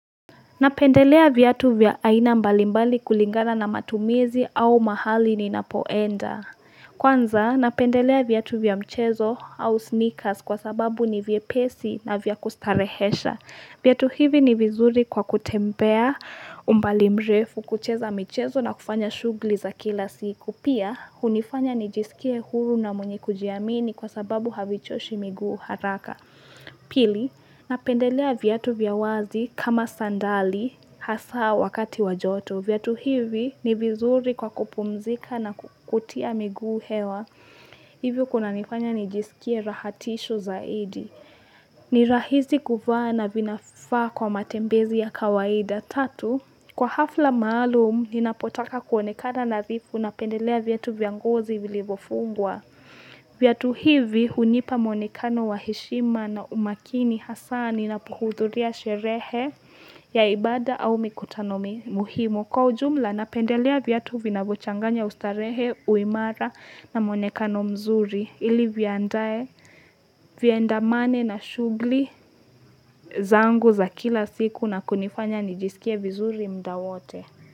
Napendelea viatu vya aina mbalimbali kulingana na matumizi au mahali ninapoenda. Kwanza, napendelea viatu vya mchezo au sneakers kwa sababu ni vyepesi na vya kustarehesha. Viatu hivi ni vizuri kwa kutembea umbali mrefu, kucheza michezo, na kufanya shughuli za kila siku. Pia, hunifanya nijisikie huru na mwenye kujiamini kwa sababu havichoshi miguu haraka. Pili, napendelea viatu vya wazi kama sandali hasa wakati wa joto. Viatu hivi ni vizuri kwa kupumzika na kutia miguu hewa. Hivyo kunanifanya nijisikie rahatisho zaidi. Ni rahisi kuvaa na vinafaa kwa matembezi ya kawaida pia. Kwa hafla maalum, ninapotaka kuonekana nadhifu, napendelea viatu vya ngozi vilivyofungwa. Viatu hivi hunipa mwonekano wa heshima na umakini, hasa ninapohudhuria sherehe ya ibada au mikutano muhimu. Kwa ujumla, napendelea viatu vinavyochanganya ustarehe, uimara na mwonekano mzuri. Ili viandamane na shughuli zangu za kila siku na kunifanya nijisikie vizuri muda wote.